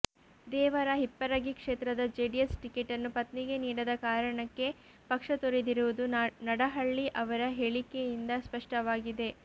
ದೇವರ ಹಿಪ್ಪರಗಿ ಕ್ಷೇತದ ಜೆಡಿಎಸ್ ಟಿಕೆಟನ್ನು ಪತ್ನಿಗೆ ನೀಡದ ಕಾರಣಕ್ಕೆ ಪಕ್ಷ ತೊರೆದಿರುವುದು ನಡಹಳ್ಳಿ ಅವರ ಹೇಳಿಕೆಯಿಂದ ಸ್ಪಷ್ಟವಾಗಿದೆ